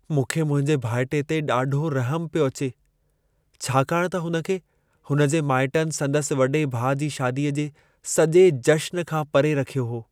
मूंखे मुंहिंजे भाइटे ते ॾाढो रहमु पियो अचे। छाकाणि त हुन खे, हुनजे माइटनि संदसि वॾे भाउ जी शादीअ जे सॼे जश्न खां परे रखियो हो।